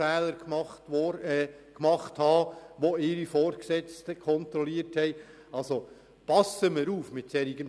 Wir sollten mit solchen Bestrebungen vorsichtig sein.